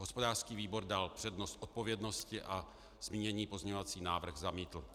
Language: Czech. Hospodářský výbor dal přednost odpovědnosti a zmíněný pozměňovací návrh zamítl.